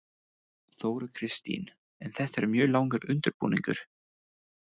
Þóra Kristín: En þetta er mjög langur undirbúningur?